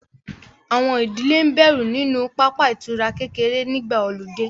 Àwọn ìdílé ń bẹ̀rù nínú pápá ìtura kékeré nígbà ọludé